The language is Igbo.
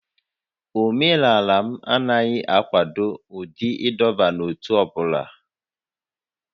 Omenala m anaghị akwado ụdị ịdọba n'ótú ọ bụla